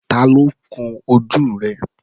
Tá ló kún ojú rẹ̀?